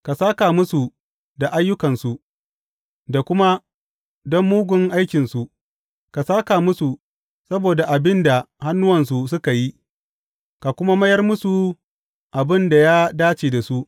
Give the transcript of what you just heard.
Ka sāka musu da ayyukansu da kuma don mugun aikinsu; ka sāka musu saboda abin da hannuwansu suka yi ka kuma mayar musu abin da ya dace da su.